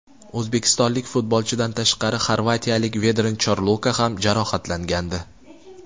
O‘zbekistonlik futbolchidan tashqari xorvatiyalik Vedran Chorluka ham jarohatlangandi.